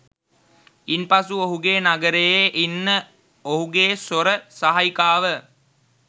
ඉන්පසු ඔහුගේ නගරයේ ඉන්න ඔහුගේ සොර සහායිකාව